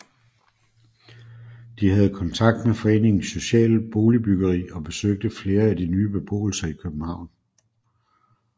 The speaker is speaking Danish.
De havde kontakt med Foreningen Social Boligbyggeri og besøgte flere af de nye beboelser i København